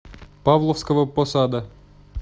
павловского посада